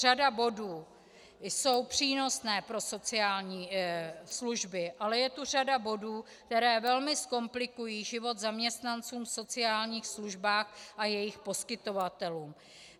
Řada bodů je přínosná pro sociální služby, ale je tu řada bodů, které velmi zkomplikují život zaměstnancům v sociálních službách a jejich poskytovatelům.